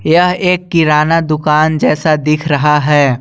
यह एक किराना दुकान जैसा दिख रहा है।